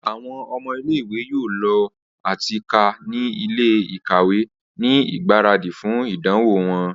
Awọn ọmọ ile-iwe yoo lọ ati ka ni ile-ikawe ni igbaradi fun idanwo wọn.